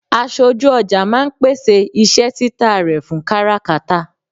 Aṣojú ọjà máà ń pèsè iṣẹ́ tita rẹ fún káràkátà